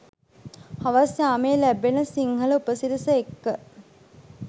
හවස් යාමයේ ලැබෙන සිංහල උපසිරැස එක්ක